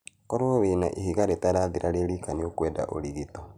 Koro wĩna ihiga rĩtarathira rĩrika nĩ ũkwenda ũrigito.